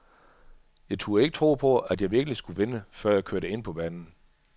Jeg turde ikke tro på, at jeg virkelig skulle vinde, før jeg kørte ind på banen.